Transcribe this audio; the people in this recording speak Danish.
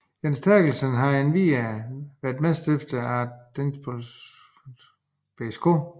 Jens Terkelsen har endvidere været medstifter af Dansk Baseball Softball Forbund og Hørsholm BSK